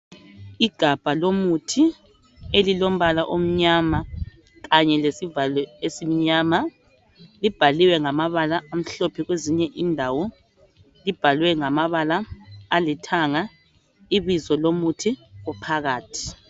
Igabha lomuthi elilombala omnyama kanye lesivalo esimnyama. Libhaliwe ngamabala amhlophe kwezinye indawo, libhalwe ngamabala alithanga ibizo lomuthi ophakathi.